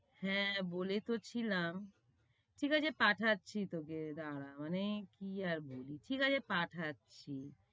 হ্যাঁ বলে তো ছিলাম। ঠিক আছে পাঠাচ্ছি তোকে দাঁড়া মানে কি আর বলি, ঠিক আছে পাঠাচ্ছি।